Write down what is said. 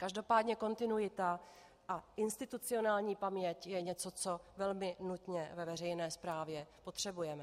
Každopádně kontinuita a institucionální paměť je něco, co velmi nutně ve veřejné správě potřebujeme.